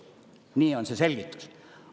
Nii on see selgitus.